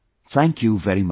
Thank you very much